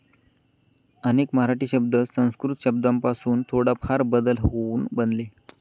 अनेक मराठी शब्द संस्कृत शब्दांपासून थोडाफार बदल होऊन बनले.